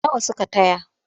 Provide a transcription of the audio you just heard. Nawa suka taya?